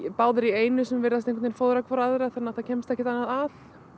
báðar í einu sem virðast fóðra hvora aðra þannig það kemst ekkert annað að